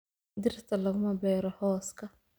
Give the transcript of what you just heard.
Dhirta laguma beero hooska